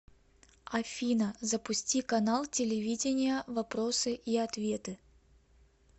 афина запусти канал телевидения вопросы и ответы